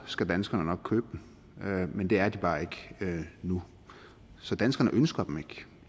skal danskerne nok købe dem men det er de bare ikke nu så danskerne ønsker dem ikke